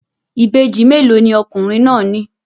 Ìbejì mélòó ni ọkùnrin náà ní?